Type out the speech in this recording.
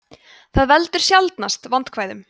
það veldur sjaldnast vandkvæðum